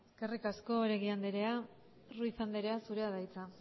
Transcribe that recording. eskerrik asko oregi andrea ruiz andrea zurea da hitza